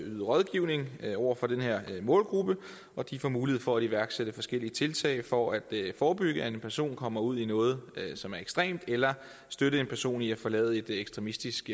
at yde rådgivning over for den her målgruppe og de får mulighed for at iværksætte forskellige tiltag for at forebygge at en person kommer ud i noget som er ekstremt eller at støtte en person i at forlade et ekstremistisk